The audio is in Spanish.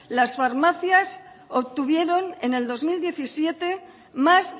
las farmacias obtuvieron en el dos mil diecisiete más